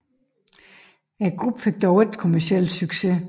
Gruppen fik dog ikke kommerciel succes